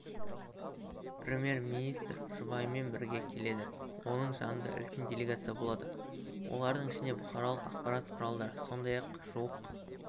премьер-министр жұбайымен бірге келеді оның жанында үлкен делегация болады олардың ішінде бұқаралық ақпарат құралдары сондай-ақ жуық